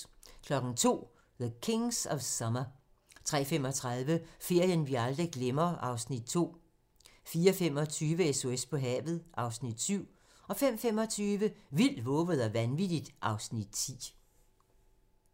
02:00: The Kings of Summer 03:35: Ferien vi aldrig glemmer (Afs. 2) 04:25: SOS på havet (Afs. 7) 05:25: Vildt, vovet og vanvittigt (Afs. 10)